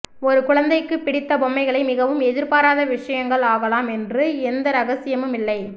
ஒரு குழந்தைக்கு பிடித்த பொம்மைகளை மிகவும் எதிர்பாராத விஷயங்கள் ஆகலாம் என்று எந்த இரகசியமும் இல்லை